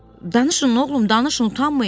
Danışın, oğlum, danışın, utanmayın.